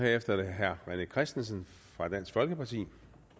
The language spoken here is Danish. herefter er det herre rené christensen fra dansk folkeparti